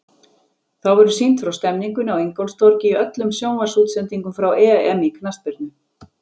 Þá verður sýnt frá stemningunni á Ingólfstorgi í öllum sjónvarpsútsendingum frá EM í knattspyrnu.